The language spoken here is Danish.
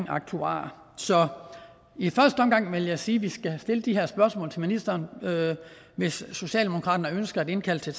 aktuarer så i første omgang vil jeg sige at vi skal have stillet de her spørgsmål til ministeren hvis socialdemokraterne ønsker at indkalde til